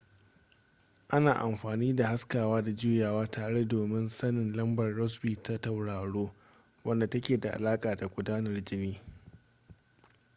ana amfani da haskawa da juyawa tare domin sanin lambar rossby ta tauraro wadda take da alaƙa da gudanar jini